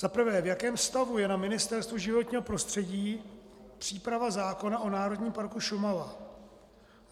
Za prvé: V jakém stavu je na Ministerstvu životního prostředí příprava zákona o Národním parku Šumava?